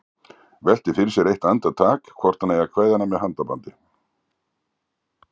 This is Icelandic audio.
Veltir fyrir sér eitt andartak hvort hann eigi að kveðja hana með handabandi.